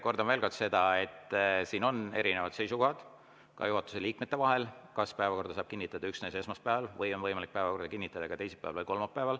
Kordan veel kord, et siin on erinevad seisukohad, ka juhatuse liikmetel, kas päevakorda saab kinnitada üksnes esmaspäeval või on võimalik päevakorda kinnitada ka teisipäeval või kolmapäeval.